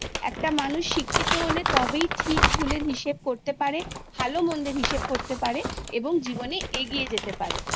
একটা মানুষ শিক্ষিত হলে তবেই ঠিক ভুলের হিসেব করতে পারে ভালো মন্দের হিসেব করতে পারে এবং জীবনে এগিয়ে যেতে পারে